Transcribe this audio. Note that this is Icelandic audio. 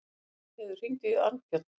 Stígheiður, hringdu í Arnbjörn.